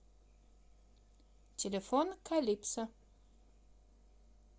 телефон калипсо